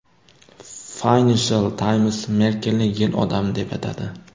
Financial Times Merkelni yil odami deb atadi .